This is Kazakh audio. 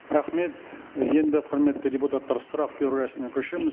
рахмет енді құрметті депутаттар сұрақ беру рәсіміне көшеміз